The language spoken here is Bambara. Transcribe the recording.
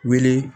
Wele